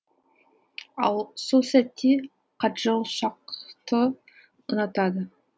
ал сол сәтте каджол шакхты ұнатады